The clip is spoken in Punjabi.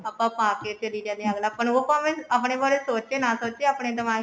ਆਪਾਂ ਪਾਕੇ ਚਲੇ ਜਾਣੇ ਆ ਅੱਗਲਾ ਉਹ ਭਾਵੇਂ ਆਪਨੇ ਬਾਰੇ ਸੋਚੇ ਨਾ ਸੋਚੇ ਆਪਣਾ ਦਿਮਾਗ